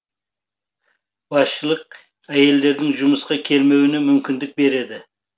басшылық әйелдердің жұмысқа келмеуіне мүмкіндік береді